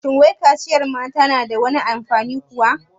Wai shi kaciyar mata na da wani alfanu kuwa?